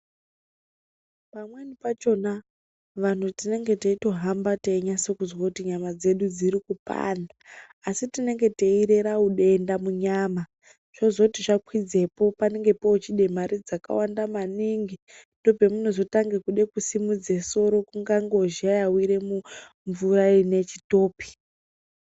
Pamweni pachona vanthu tinenge teitohamba teinyase kuzwa kuti nyama dzedu dziri kupanda asi tinenge teirera udenda munyama zvozoti zvakwidzepo panenge pochide mare dzakawanda maningi ndopamunochide kutanga kusimudze soro kunge ngozha yawire muchitopi.